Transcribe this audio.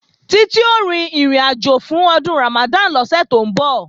Títí ó rin ìrìnàjò fún Ọdún Ramadan lọ́sẹ̀ tó ń bọ̀